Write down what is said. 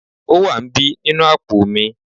o wa n bi ninu apo mi